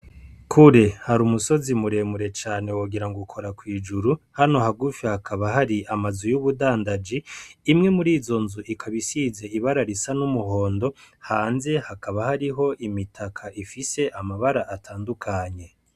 Kure hari umusozi muremure cane wogira ngo ukora kw'ijuru hano hagufi hakaba hari amazu y'ubudandaji imwe muri izo nzu ikaba isize ibara risa n'umuhondo hanze hakaba hariho imitaka ifise amabara atandukanye.